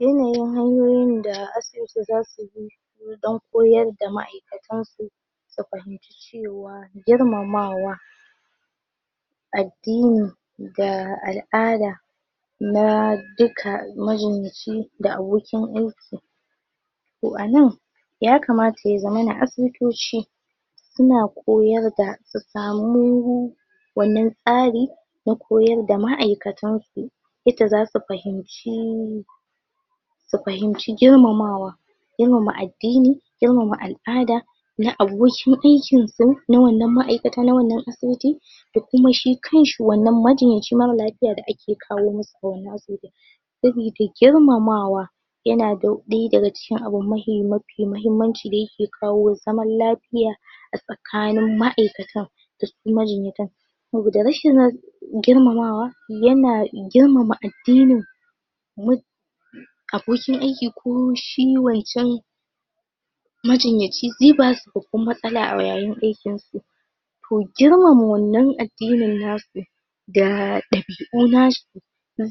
yanayin hanyoyin da asibiti zasu bi su dan koyarda ma'aikatansu su fahimci cewa girmamawa addini ga al'ada na duka majinyaci da abokin aiki to anan ya kamata ya zamana asibitoci suna koyarda su samu wannan tsari na koyarda ma'aikatansu yanda zasu fahimci su fahimci girmamawa girmama addini girmama al'ada na abukin aikinsu na wanna ma'aikata na wannan asibiti dakuma shi kanshi wannan majinyaci mara lafiya da ake kawo musu daga wannan asibiti sabida girmamawa yanada daya daga cikin abu mafi mahimmanci dayake kawo zaman lafiya asakanin ma'aikatan dasu majinyatan saboda rashin ran girmamawa yana girmama addini mut abokin aiki koshi wanchan majinyaci ze basu babban matsala ayayin aikinsu to girmama wannan addinin nasu da dabi'u nasu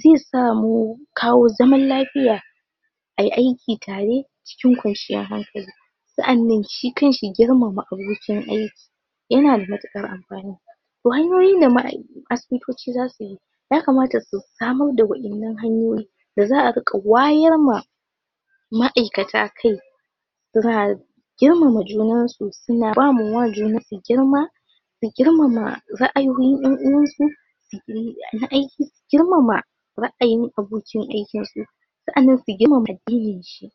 zesamu kawo zaman lafiya ayi aiki tare cikin kwanciyar hankali sa'anan shi kanshi girmama abokin aiki yanada matukar amfani to hanyoyin da ma'ai asibitoci zasuyi ya kamata su samarda wayannan hanyoyi da za'a rika wayarma ma'aikata kai ba girmama junansu suna bama wa junansu girma da girmama ra'ayoyin yanuwansu su girmama ra'ayin abokin aikinsu sa'anan su girmama addininshi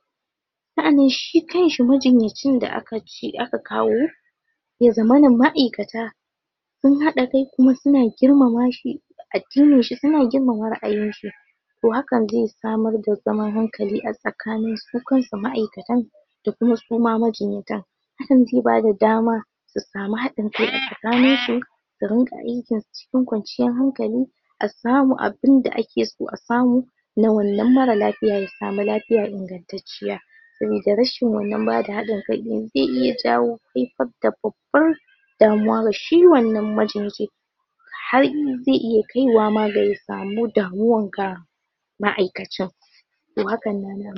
sa'anan shi kanshi majinyacin da akace aka kawo ya zamana ma'aikata sun hada kai kuma suna girmama shi addininshi suna girmama ra'ayinshi to hakan ze samarda zaman hankali asakanin su kansu ma'aikatan dakuma suma majinyatan hakan ze bada dama su samu haɗin kai a sakaninsu suringa aikinsu cikin kwanciyar hankali asamu abinda akeso asamu na wannan mara lafiya ya samu lafya ingantacciya sabida rashin wannan bada haɗinkai din ze iya jawo haifar da babbar damuwa ga shi wannan majinyaci har iy ze iya kaiwama ga ya samun damuwan ga ma'aikacin to haka nan